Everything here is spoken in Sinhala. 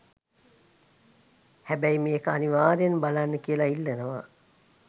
හැබයි මේක අනිවාර්යයෙන් බලන්න කියලා ඉල්ලනවා.